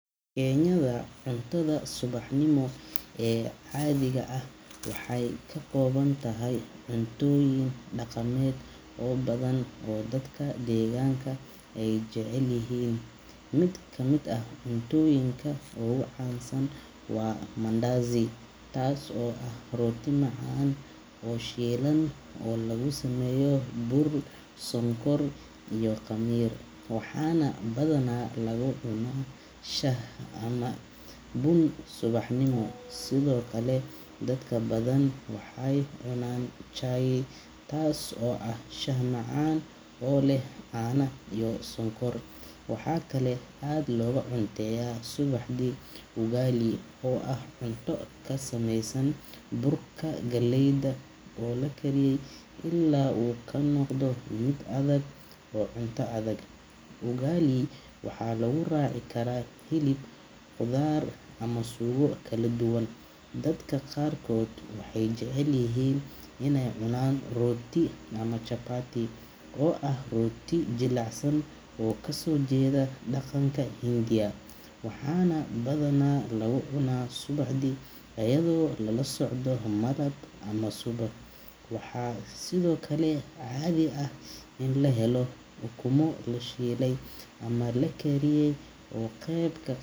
Kenyada, cuntada subaxnimo ee caadiga ah waxay ka kooban tahay cuntooyin dhaqameed oo badan oo dadka deegaanka ay jecel yihiin. Mid ka mid ah cuntooyinka ugu caansan waa mandazi, taas oo ah rooti macaan oo shiilan oo laga sameeyo bur, sonkor, iyo khamiir, waxaana badanaa lagu cunaa shaah ama bun subaxnimo. Sidoo kale, dadka badan waxay cunaan chai, taas oo ah shaah macaan oo leh caano iyo sonkor. Waxaa kaloo aad looga cunteeyaa subaxdii ugali, oo ah cunto ka samaysan burka galleyda oo la kariyay ilaa uu ka noqdo mid adag oo cunto adag. Ugali waxaa lagu raaci karaa hilib, khudaar, ama suugo kala duwan. Dadka qaarkood waxay jecel yihiin inay cunaan rooti ama chapati, oo ah rooti jilicsan oo ka soo jeeda dhaqanka Hindiya, waxaana badanaa lagu cunaa subaxdii iyadoo lala socdo malab ama subag. Waxaa sidoo kale caadi ah in la helo ukumo la shiilay ama la kariyay oo qeyb.